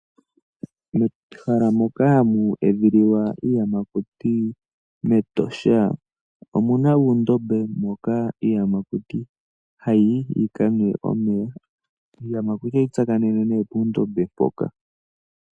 Mehala moka hamu edhililwa iiyamakuti metosha omuna uundombe moka iiyamakuti ha yiyi yikanwe omeya. Iiyamakuti ohayi tsakanene nee pondombe mpoka.